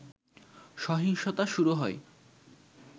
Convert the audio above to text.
সহিংসতা শুরু হয়